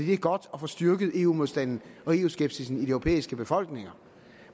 det er godt at få styrket eu modstanden og eu skepsisen i de europæiske befolkninger